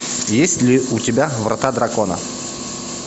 есть ли у тебя врата дракона